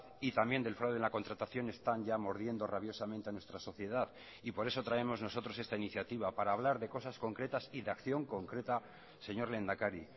y también del fraude en la contratación están ya mordiendo rabiosamente a nuestra sociedad y por eso traemos nosotros esta iniciativa para hablar de cosas concretas y de acción concreta señor lehendakari